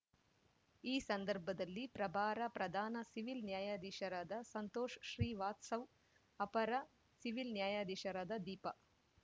ಈ ಸಂದರ್ಭದಲ್ಲಿ ಪ್ರಭಾರ ಪ್ರಧಾನ ಸಿವಿಲ್ ನ್ಯಾಯಾಧೀಶರಾದ ಸಂತೋಷ್ ಶ್ರೀ ವಾಸ್ತವ್ ಅಪರ ಸಿವಿಲ್ ನ್ಯಾಯಾಧೀಶರಾದ ದೀಪ